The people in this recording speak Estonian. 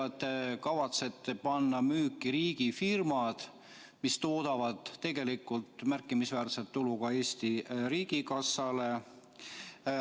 Te kavatsete panna müüki riigifirmad, mis toodavad tegelikult märkimisväärset tulu ka Eesti riigikassale.